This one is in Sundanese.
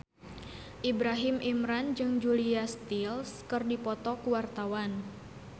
Ibrahim Imran jeung Julia Stiles keur dipoto ku wartawan